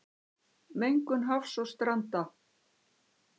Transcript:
Mengun hafs og stranda